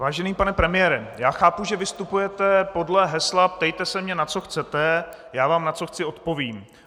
Vážený pane premiére, já chápu, že vystupujete podle hesla "ptejte se mě, na co chcete, já vám, na co chci, odpovím".